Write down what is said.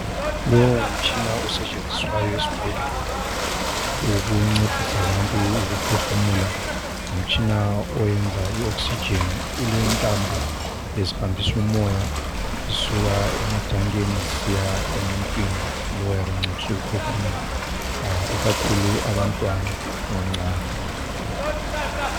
Lowu ngumtshina osetshenziswayo esibhedlela ukuncedisa abantu ukuphefumula. Ngumtshina oyenza I oxygen ulentambo ezihambisa umoya kusuka ematankeni zisiya emuntwini lowu oyabe encediswa ukuphefumula ikakhulu abantwana abancane.